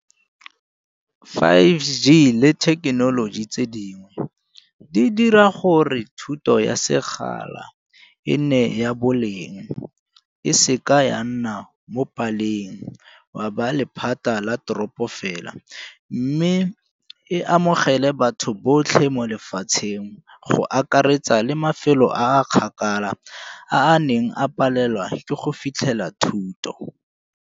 Five G le thekenoloji tse dingwe di dira gore thuto ya sekgala e nne ya boleng, e seka ya nna mo paleng gwa ba lephata la teropo fela. Mme e amogele batho botlhe mo lefatsheng go akaretsa le mafelo a a kgakala a a neng a palelwa ke go fitlhela thuto.